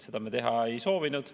Seda me teha ei soovinud.